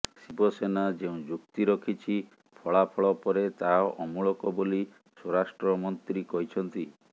ଶିବସେନା ଯେଉଁ ଯୁକ୍ତି ରଖିଛି ଫଳାଫଳ ପରେ ତାହା ଅମୂଳକ ବୋଲି ସ୍ୱରାଷ୍ଟ୍ର ମନ୍ତ୍ରୀ କହିଛନ୍ତି